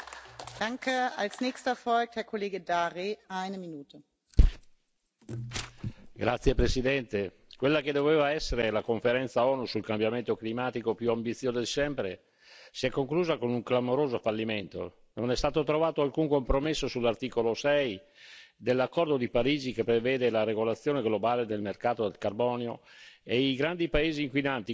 Signora Presidente, onorevoli colleghi, quella che doveva essere la conferenza ONU sul cambiamento climatico più ambiziosa di sempre si è conclusa con un clamoroso fallimento. Non è stato trovato alcun compromesso sull'articolo 6 dell'accordo di Parigi, che prevede la regolazione globale del mercato del carbonio e i grandi paesi inquinanti quali India, Cina e Stati Uniti hanno ribadito il loro no alla riduzione dei gas ad effetto serra.